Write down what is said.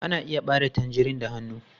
Ana iya ɓare tangerine da hannu.